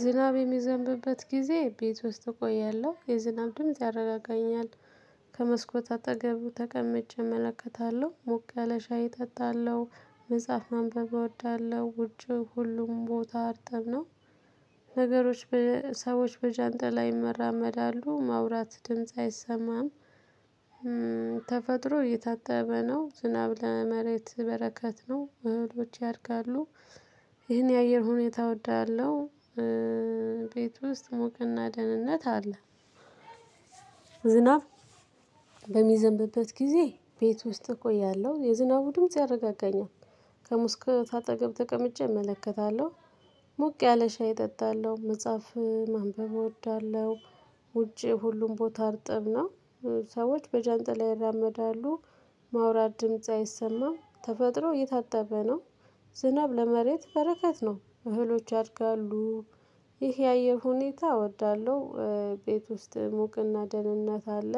ዝናብ የሚዘንብበት ጊዜ ቤት ውስጥ እቆያለሁ። የዝናብ ድምጽ ያረጋገኛል። ከመስኮት አጠገቡ ተቀምጬ እመለከታለሁ። ሞቅ ያለ ሻይ እጠጣለሁ። መጽሐፍ ማንበብ እወዳለሁ። ውጭ ሁሉም ቦታ አርጥብ ነው ነገሮች በ ሰዎች በጃንጥላ ይመራመዳሉ ማውራት ድምጽ አይሰማም። ተፈጥሮ እየታተበ ነው ዝናብ ላይ መሬት በረከት ነው። እህሎች ያድጋሉ። ይሄን የአየር ሁኔታ እወዳለሁ። ቤት ውስጥ ሙቅ እና ደህንነት አለ። ዝናብ በሚዘንብበት ጊዜ ቤት ውስጥ እቆያለሁ የዝናቡ ድምጽ ያረጋጋኛል። ከሙስኮት አጠገብ ተቀምጬ እመለከታለሁ። ሙቅ ያለ ሻይ እጠጣለሁ። መጽሐፍ ማንበብ እወዳለሁ። ውጪ ሁሉም ቦታ አርጥብ ነው። ሰዎች በጃንጣ ይራመዳሉ ማውራት ድምጽ አይሰማም። ተፈጥሮ እየታጠበ ነው። ዝናብ ለመሬት በረከት ነው። እህሎች ያድጋሉ። ይህ የአየር ሁኔታ እወዳለሁ። ቤት ውስጥ ሙቅና ደህንነት አለ።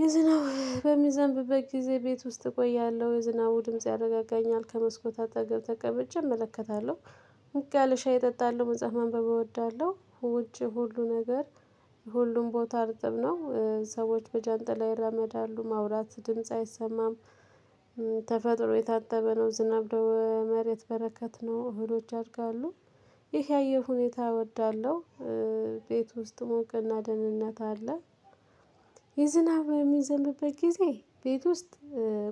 የዝናቡ በሚዘንብበት ጊዜ ቤት ውስጥ እቆያለሁ። የዝናቡ ድምጽ ያረጋጋኛል ከመስኮት አጠገብ ተቀብጬ እመለከታለሁ። ሞቅ ያለ ሻይ እጠጣለሁ። መጽሐፍ ማንበብ እወዳለሁ። ውጪ ሁሉ ነገር ሁሉም ቦታ አርጥብ ነው። ሰዎች በጃንጥላ ይራመዳሉ። ማውራት ድምጽ አይሰማም። ተፈጥሮ የታጠበ ነው ዝናብ ደው መሬት በረከት ነው። እህሎች ያድጋሉ። ይሄ ያየር ሁኔታ እወዳለሁ። ቤት ውስጥ ሙቅ እና ደህንነት አለ። የዝናብ የሚዘምበት ጊዜ ቤት ውስጥ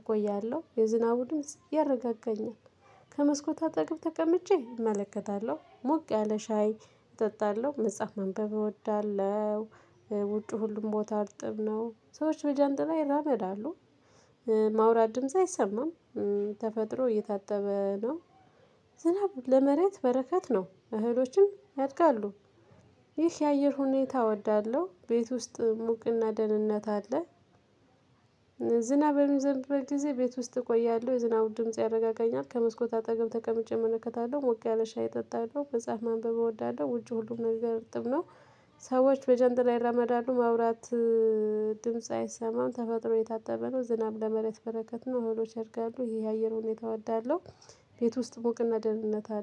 እቆያለሁ። የዝናቡ ድምጽ ያረጋጋኛል። ከመስኮታ አጠግብ ተቀምጬ እመለከታለሁ። ሞቅ ያለ ሻይ እጠጣለሁ። መጽሐፍ ማንበብ እወዳለሁ። ውጪ ሁሉም ቦታ አርጥብ ነው። ሰዎች በጃንጥላ ይራመዳሉ። ማውራት ድምጽ አይሰማም። ተፈጥሮ እየታጠበ ነው። ዝናብ ለመሬት በረከት ነው። እህሎችን ያድጋሉ፣ ይህ የአየር ሁኔታ እወዳለሁ። ቤት ውስጥ ሙቅና ደህንነት አለ። ዝናብ የሚዘንብበት ጊዜ ቤት ውስጥ እቆያለሁ። የዝናቡን ድምጽ ያረጋገኛ። ከመስኮት አጠገብ ተቀምጬ እመለከታለሁ። ሞቅ ያለ ሻይ እጠጣለሁ። መጽሐፍ ማንበብ እወዳለሁ። ውጪ ሁሉም ነገር እርጥብ ነው። ሰዎች በጀንጥላ ይራመዳሉ ማውራት ድምጽ አይሰማም። ተፈጥሮ እየታጠበ ነው። ዝናብ ለመሬት በረከት ነው። እህሎች ያደርጋሉ። ይሄ የአየር ሁኔታ እወዳለሁ። ቤት ውስጥ ሙቅ እና ደህንነት አለ።